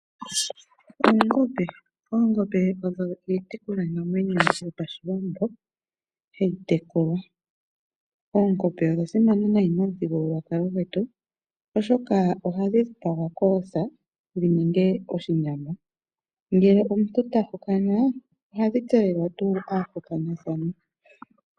Oongombe, oongombe odho iitekulwa namwenyo yopashiwambo hayi tekulwa, oongombe odha simana nayi momuthigululwakalo gwetu oshoka ohadhi dhipagwa koosa dhininge oshinyama, ngele omuntu tahokana ohadhi tselelwa tuu aahokanathani.